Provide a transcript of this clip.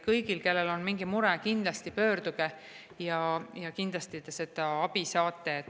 Kõik, kellel on mingi mure, kindlasti pöörduge ja kindlasti te abi sealt saate.